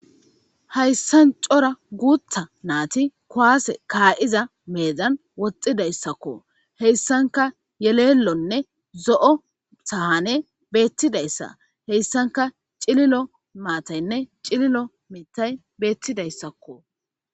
hayssan cora guutha naati kuwaase kaa7iza meedzan woxxidayssakko heyssanka yelelonne zo7o sahane beettidayssa heyssanka cililo maataynne cililo mitay beettidayssakko